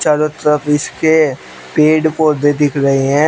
चारो तरफ इसके पेड़ पौधे दिख रहे हैं।